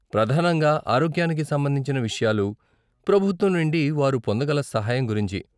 ప్రధానంగా ఆరోగ్యానికి సంబంధించిన విషయాలు, ప్రభుత్వం నుండి వారు పొందగల సహాయం గురించి.